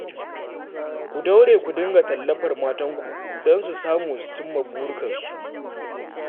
Ku daure ku dinga tallafar matanku don su samu su cimma burikansu